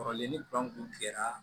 Kɔrɔlen ni kuran kun tigɛra